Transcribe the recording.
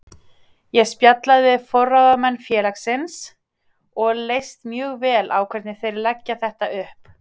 Ég spjallaði við forráðamenn félagsins og leist mjög vel á hvernig þeir leggja þetta upp.